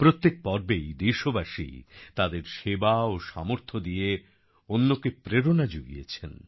প্রত্যেক পর্বেই দেশবাসী তাদের সেবা ও সামর্থ্য দিয়ে অন্যকে প্রেরণা যুগিয়েছেন